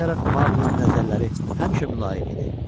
Buna baxmayaraq Maqulinin nəzərləri həmişə mülayim idi.